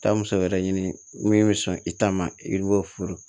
Taa muso wɛrɛ ɲini min bɛ sɔn i ta ma i b'o furu